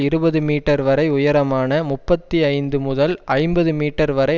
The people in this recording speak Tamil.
இருபது மீட்டர் வரை உயரமான முப்பத்தி ஐந்து முதல் ஐம்பது மீட்டர் வரை